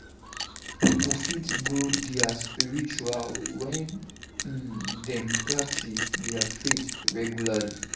Pipo fit grow spiritually wen um dem practice their faith regularly.